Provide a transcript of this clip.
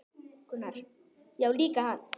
Gunnar: Já líka hann